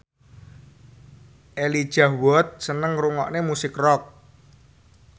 Elijah Wood seneng ngrungokne musik rock